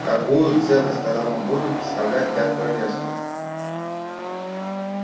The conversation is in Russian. какую ценность тогда мы будем представлять для королевства